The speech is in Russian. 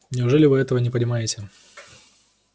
неужели вы этого не понимаете